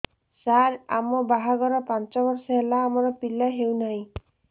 ସାର ଆମ ବାହା ଘର ପାଞ୍ଚ ବର୍ଷ ହେଲା ଆମର ପିଲା ହେଉନାହିଁ